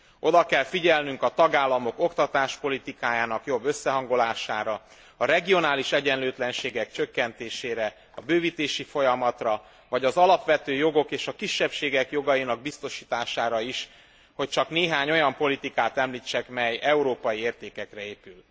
Oda kell figyelnünk a tagállamok oktatáspolitikájának jobb összehangolására, a regionális egyenlőtlenségek csökkentésére, a bővítési folyamatra, vagy az alapvető jogok és a kisebbségek jogainak biztosítására is, hogy csak néhány olyan politikát említsek, mely európai értékekre épül.